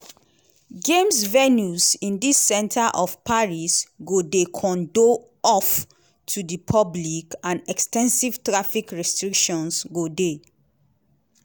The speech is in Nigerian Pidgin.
games venues in di centre of paris go dey cordoned off to di public and ex ten sive traffic restrictions go dey.